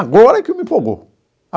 Agora que me empolgou.